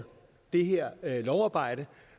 det her lovarbejde